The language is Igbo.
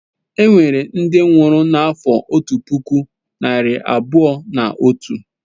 Enwere ndị nwụrụ n'afọ otu puku narị abụọ na otu.